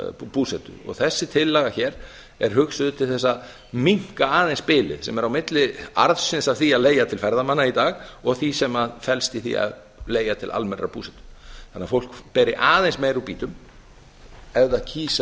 búsetu þessi tillaga hér er hugsuð til þess að minnka aðeins bilið sem er á milli arðsins af því að leigja til ferðamanna í dag og því sem felst í því að leigja til almennrar búsetu þannig að fólk beri aðeins meira úr býtum ef það kýs